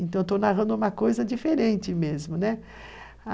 Então, estou narrando uma coisa diferente mesmo, né?